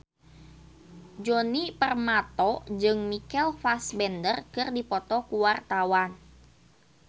Djoni Permato jeung Michael Fassbender keur dipoto ku wartawan